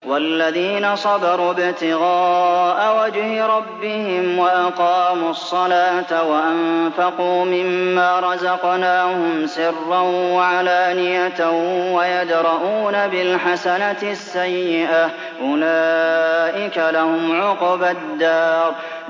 وَالَّذِينَ صَبَرُوا ابْتِغَاءَ وَجْهِ رَبِّهِمْ وَأَقَامُوا الصَّلَاةَ وَأَنفَقُوا مِمَّا رَزَقْنَاهُمْ سِرًّا وَعَلَانِيَةً وَيَدْرَءُونَ بِالْحَسَنَةِ السَّيِّئَةَ أُولَٰئِكَ لَهُمْ عُقْبَى الدَّارِ